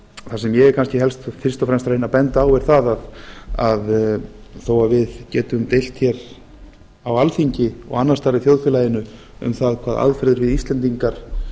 það sem ég er kannski fyrst og fremst að reyna að benda á er það að þó að við getum deilt hér á alþingi og annars staðar í þjóðfélagi um það hvaða aðferðir við íslendingar